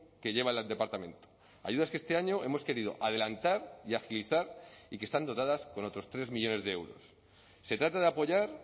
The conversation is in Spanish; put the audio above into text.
que lleva el departamento ayudas que este año hemos querido adelantar y agilizar y que están dotadas con otros tres millónes de euros se trata de apoyar